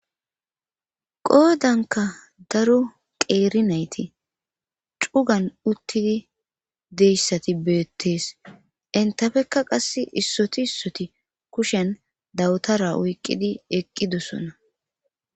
qoodanka daro qeeri nayti cugan uttidi deyssati beettees entafekka qass issoti issoti kushen dawutara wuyqqidi eqqidossona